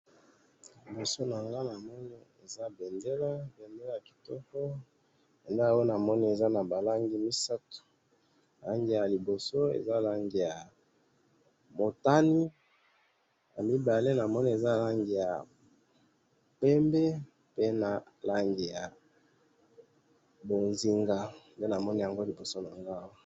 liboso nangai namoni eza mbendela mbendela ya kitoko mbendela oyo namoni eza lange misatu langi ya liboso eza langi motani , na mibale namona eza lange ya pembe pe langi ya mozinga nde namoni yango liboso awa